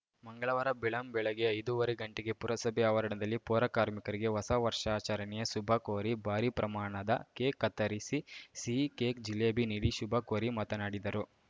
ಮಂಗಳವಾರ ಬೆಳ್ಳಂಬೆಳಗ್ಗೆ ಐದುವರೆ ಗಂಟೆಗೆ ಪುರಸಭೆ ಆವರಣದಲ್ಲಿ ಪೌರಕಾರ್ಮಿಕರಿಗೆ ಹೊಸ ವರ್ಷಾಚರಣೆಯ ಶುಭ ಕೋರಿ ಭಾರೀ ಪ್ರಮಾಣದ ಕೇಕ್‌ ಕತ್ತರಿಸಿ ಸಿಹಿ ಕೇಕ್‌ ಜಿಲೇಬಿ ನೀಡಿ ಶುಭ ಕೋರಿ ಮಾತನಾಡಿದರು